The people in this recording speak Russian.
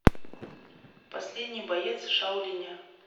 последний боец шаолиня